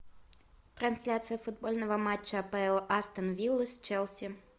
трансляция футбольного матча апл астон виллы с челси